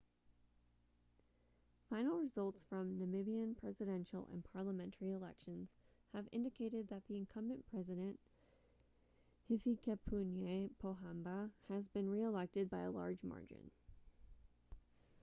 final results from namibian presidential and parliamentary elections have indicated that the incumbent president hifikepunye pohamba has been reelected by a large margin